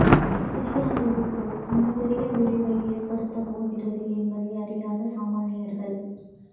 சிறிய அறிவிப்பு மிகப்பெரிய விளைவை ஏற்படுத்தப் போகிறது என்பதை அறியாத சாமானியர்கள்